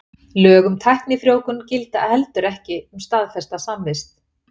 Lög um tæknifrjóvgun gilda heldur ekki um staðfesta samvist.